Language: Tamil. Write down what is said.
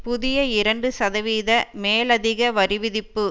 புதிய இரண்டு சதவீத மேலதிக வரிவிதிப்பு